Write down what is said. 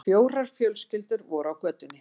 Fjórar fjölskyldur voru á götunni.